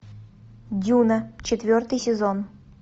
дюна четвертый сезон